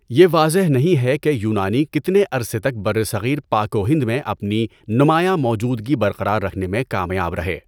یہ واضح نہیں ہے کہ یونانی کتنے عرصے تک برصغیر پاک و ہند میں اپنی نمایاں موجودگی برقرار رکھنے میں کامیاب رہے۔